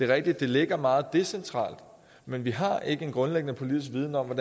rigtigt at det ligger meget decentralt men vi har ikke en grundlæggende politisk viden om